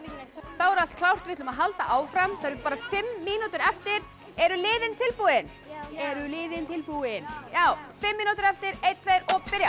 þá er allt klárt við ætlum að halda áfram það eru bara fimm mínútur eftir eru liðin tilbúin já eru liðin tilbúin já fimm mínútur eftir einn tveir og byrja